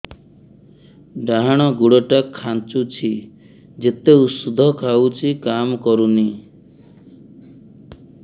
ଡାହାଣ ଗୁଡ଼ ଟା ଖାନ୍ଚୁଚି ଯେତେ ଉଷ୍ଧ ଖାଉଛି କାମ କରୁନି